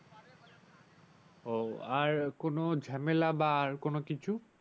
আর কোনো ঝামেলা বা আর কোনো কিছু ।